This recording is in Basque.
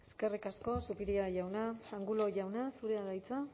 eskerrik asko zupiria jauna angulo jauna zure da hitza